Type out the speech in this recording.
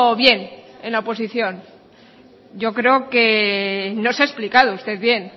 bien en la oposición yo creo que no se ha explicado usted bien